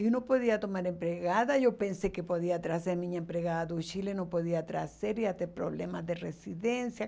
Eu não podia tomar empregada, e eu pensei que podia trazer minha empregada do Chile, não podia trazer, ia ter problema de residência.